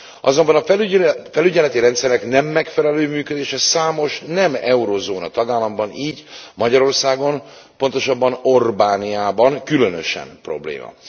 Azonban a felügyeleti rendszerek nem megfelelő működése számos nem euróövezeti tagállamban, így Magyarországon, pontosabban Orbániában különösen probléma.